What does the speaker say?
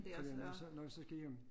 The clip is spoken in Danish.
Fordi når så når vi så skal hjem